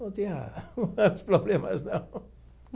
Não tinha mais problemas, não.